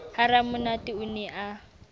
ha ramonate o ne a